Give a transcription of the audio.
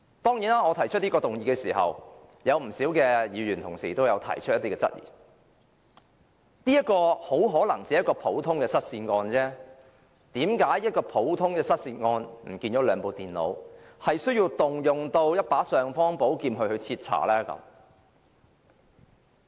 當然，我提出這項議案時，有不少議員同事都提出一些質疑，認為這很可能只是一宗很普通的失竊案，為何要就一宗失去了兩部電腦的普通失竊案，運用尚方寶劍來徹查？